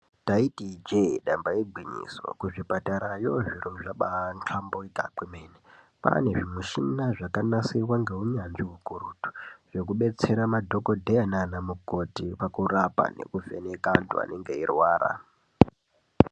Taiti ijee damba igwinyiso kuzvipatarayo zviro zvabahlamburika kwemene kwane zvimushina zvakanasirwa ngeunyanzvi ukurutu zvekubetsera madhokodheya nana mukoti kurapa nekuvheneka antu anenge eirwara.